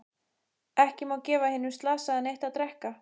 Ekki má gefa hinum slasaða neitt að drekka.